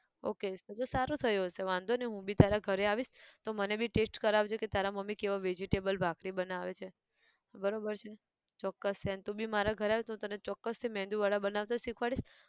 okay બધું સારું થયું હશે વાંધો નઈ હું બી તારા ઘરે આવીશ, તો મને બી taste કરાવજે કે તારા મમ્મી કેવા vegetable ભાખરી બનાવે છે, બરોબર છે, ચોક્કસ છે ન તું બી મારા ઘરે આવ તો હું તને ચોક્કસ થી મેંદુ વડા બનાવતા શીખવાડીશ.